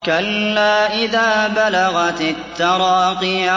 كَلَّا إِذَا بَلَغَتِ التَّرَاقِيَ